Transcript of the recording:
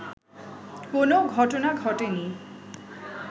কেনো ঘটনা ঘটেনি